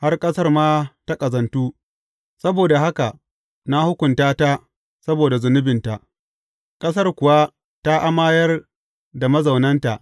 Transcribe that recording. Har ƙasar ma ta ƙazantu, saboda haka na hukunta ta saboda zunubinta, ƙasar kuwa ta amayar da mazaunanta.